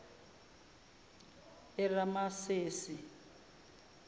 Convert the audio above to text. eramasesi